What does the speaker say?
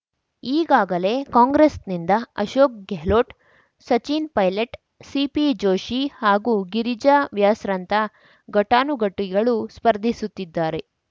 ಈಗಾಗಲೇ ಕಾಂಗ್ರೆಸ್‌ನಿಂದ ಅಶೋಕ್‌ ಗೆಹ್ಲೋಟ್‌ ಸಚಿನ್‌ ಪೈಲಟ್‌ ಸಿಪಿ ಜೋಶಿ ಹಾಗೂ ಗಿರಿಜಾ ವ್ಯಾಸ್‌ರಂಥ ಘಟಾನುಘಟಿಗಳೂ ಸ್ಪರ್ಧಿಸುತ್ತಿದ್ದಾರೆ